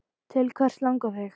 Til hvers langar þig?